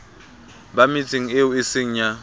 ba metseng eo eseng ya